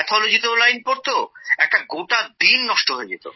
Pathologyতেও line পড়তো একটা গোটা দিন নষ্ট হয়ে যেতো